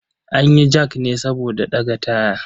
An yi jak ne saboda ɗaga taya.